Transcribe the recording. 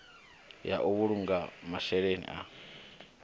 ya u vhulunga masheleni ya